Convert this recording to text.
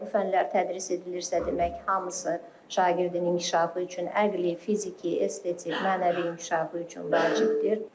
Əgər bu fənlər tədris edilirsə, demək hamısı şagirdin inkişafı üçün, əqli, fiziki, estetik, mənəvi inkişafı üçün vacibdir.